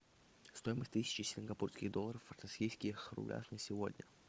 стоимость тысячи сингапурских долларов в российских рублях на сегодня